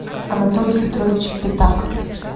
анатолий петрович пятак